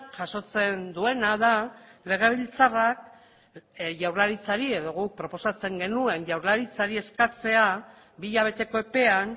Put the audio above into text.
jasotzen duena da legebiltzarrak jaurlaritzari edo guk proposatzen genuen jaurlaritzari eskatzea bi hilabeteko epean